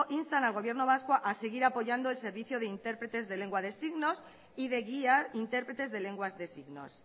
insta al gobierno vasco a seguir apoyando el servicio de intérpretes de lengua de signos y de guía intérpretes de lenguas de signos